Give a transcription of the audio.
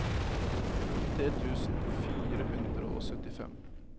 nittitre tusen fire hundre og syttifem